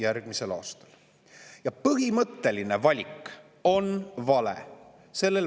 Selle valitsuse põhimõtteline valik on vale.